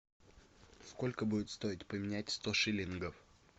сколько будет стоить поменять сто шиллингов